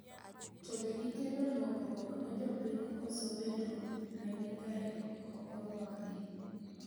To be gikelo lokruok ne jopiny koso bedo negi kae okorwak gi?